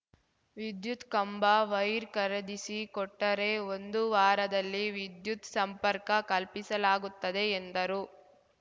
ವಿದ್ಯುತ್‌ ಕಂಬ ವೈರ್ ಖರೀದಿಸಿ ಕೊಟ್ಟರೆ ಒಂದು ವಾರದಲ್ಲಿ ವಿದ್ಯುತ್‌ ಸಂಪರ್ಕ ಕಲ್ಪಿಸಲಾಗುತ್ತದೆ ಎಂದರು